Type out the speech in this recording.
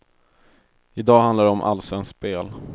I dag handlar det om allsvenskt spel.